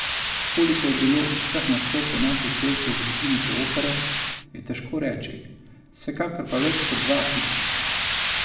Koliko je bilo vseh nastopov naših pevcev v zgodovini te opere, je težko reči, vsekakor pa več kot dva tisoč.